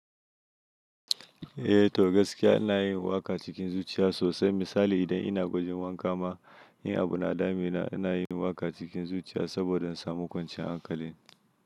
Eh, to gaskiya ina yin waƙa cikin zuciya sosai. Misali idan ina wajen wanka ma, in abu na dami na ina yin waƙa cikin zuciya saboda in samu kwanciyar hankali.